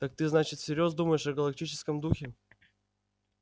так ты значит всерьёз думаешь о галактическом духе